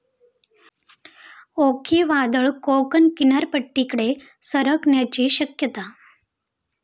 ओखी वादळ कोकण किनारपट्टीकडे सरकण्याची शक्यता